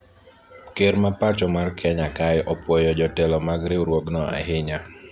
ker ma pacho mar kenya kae opwoyo jotelo mag riwruogno ahinya